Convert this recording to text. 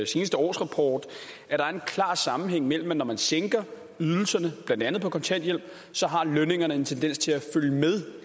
sidste årsrapport at der er den klare sammenhæng at når man sænker ydelserne blandt andet på kontanthjælp har lønningerne en tendens til at følge med